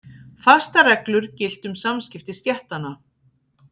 Fastar reglur giltu um samskipti stéttanna.